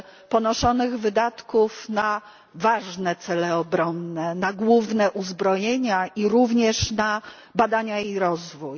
ponoszonych wydatków na ważne cele obronne, na główne uzbrojenia i również na badania i rozwój.